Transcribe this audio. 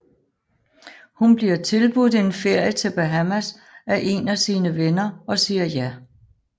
Hun bliver tilbudt en ferie til Bahamas af en af sine venner og siger ja